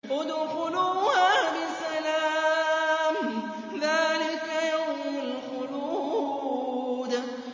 ادْخُلُوهَا بِسَلَامٍ ۖ ذَٰلِكَ يَوْمُ الْخُلُودِ